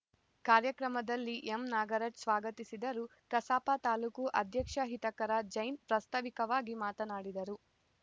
ಕಾರ್ಯಕ್ರಮದಲ್ಲಿ ಎಂನಾಗರಾಜ್‌ ಸ್ವಾಗತಿಸಿದರು ಕಸಾಪ ತಾಲೂಕು ಅಧ್ಯಕ್ಷ ಹಿತಕರ ಜೈನ್‌ ಪ್ರಾಸ್ತಾವಿಕವಾಗಿ ಮಾತನಾಡಿದರು